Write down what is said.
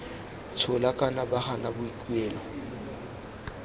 tshola kana ba gana boikuelo